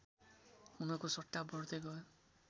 हुनको सट्टा बढ्दै गयो